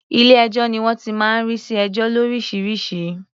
Ilé-ẹjọ́ ni wọ́n ti máa ń rí sí ẹjọ́ lóríṣiríṣi.